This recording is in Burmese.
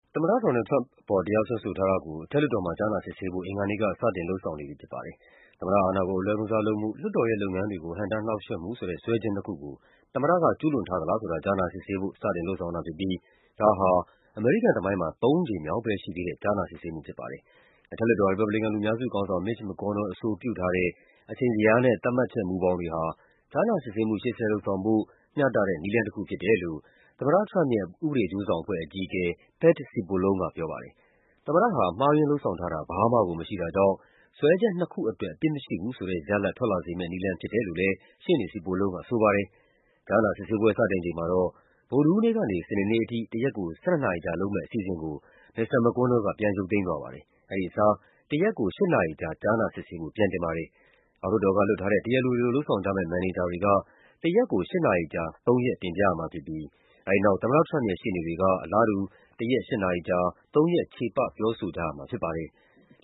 သမ္မတ ဒေါ်နယ်လ်ဒ် ထရမ့်ပ်အပေါ် တရားစွဲဆိုထားတာကို အထက်လွှတ်တော်မှာ ကြားနာစစ်ဆေးဖို့ အင်္ဂါနေ့က စတင် လုပ်ဆောင်နေပြီဖြစ်ပါတယ်။ သမ္မတအာဏာကို အလွဲသုံးစားလုပ်မှု၊ လွှတ်တော်ရဲ့လုပ်ငန်းတွေကို ဟန့်တားနှောင့်ယှက်မှုဆိုတဲ့ စွဲချက်နှစ်ခုကို သမ္မတက ကျူးလွန်ထားသလားဆိုတာ ကြားနာစစ်ဆေးဖို့ စတင်လုပ်ဆောင်တာဖြစ်ပြီး ဒါဟာ အမေရိကန် သမိုင်း မှာ သုံးကြိမ်မြောက်ပဲရှိသေးတဲ့ ကြားနာစစ်ဆေးမှုဖြစ်ပါတယ်။ အထက်လွှတ်တော် ရီပတ်ဘလီကန်လူများစုခေါင်းဆောင် Mitch McConnell အဆိုပြုထားတဲ့ အချိန်ဇယားနဲ့ သတ်မှတ်ချက် ဘောင်တွေဟာ ကြားနာစစ်ဆေးမှု ရှေ့ဆက်လုပ်ဆောင်ဖို့ မျှတတဲ့နည်းလမ်းတခုဖြစ်တယ်လို့ သမ္မတထရမ့်ပ်ရဲ့ ဥပဒေအကျိုး ဆောင်အဖွဲ့အကြီးအကဲ Pat Cipollone ကပြောပါတယ်။ သမ္မတဟာ မှားယွင်းလုပ်ဆောင်ထားတာ ဘာမှကိုမရှိတာကြောင့် စွဲချက်နှစ်ခုအတွက် အပြစ်မရှိဘူးဆိုတဲ့ရလဒ် ထွက်လာစေ မယ့်နည်းလမ်းဖြစ်တယ်လို့လည်း ရှေ့နေ Cipollone ကဆိုပါတယ်။ ကြားနာစစ်ဆေးပွဲစတင်ချိန်မှာတော့ ဗုဒ္ဓဟူးနေ့ကနေ စနေနေ့အထိ တရက်ကို ၁၂ နာရီကြာလုပ်မယ့် အစီအစဉ်ကို မစ္စတာ McConnell က ပြန်ရုပ်သိမ်းသွားပါတယ်။ အဲဒီအစား တရက်ကို ၈ နာရီကြာ ကြားနာစစ်ဆေးဖို့ ပြန်တင်တာပါ။ အောက်လွှတ်တော်ကလွှတ်ထားတဲ့ တရားလိုတွေလို လုပ်ဆောင်ကြမယ့် မန်နေဂျာတွေက တရက်ကို ၈ နာရီကြာ သုံးရက် တင်ပြရမှာဖြစ်ပြီး အဲဒီနောက် သမ္မတထရမ့်ပ်ရဲ့ရှေ့နေတွေက အလားတူ တရက် ၈ နာရီကြာ သုံးရက် ချေပပြောဆိုကြရမှာ ဖြစ်ပါတယ်။